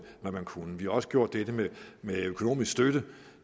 hvad man kunne vi har også gjort det med økonomisk støtte